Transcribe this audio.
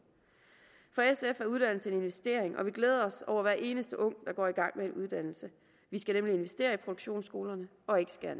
for sf er uddannelse en investering og vi glæder os over hver eneste ung der går i gang med uddannelse vi skal nemlig investere i produktionsskolerne og ikke skære